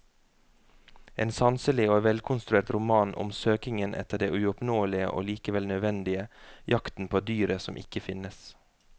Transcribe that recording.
En sanselig og velkonstruert roman om søkingen etter det uoppnåelige og likevel nødvendige, jakten på dyret som ikke finnes.